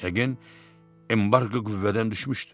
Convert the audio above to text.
Yəqin, embarqo qüvvədən düşmüşdü.